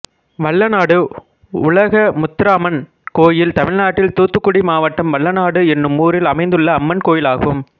வல்லநாடு உலகமுத்தாரம்மன் கோயில் தமிழ்நாட்டில் தூத்துக்குடி மாவட்டம் வல்லநாடு என்னும் ஊரில் அமைந்துள்ள அம்மன் கோயிலாகும்